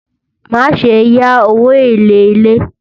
má sé yá owó élè ilè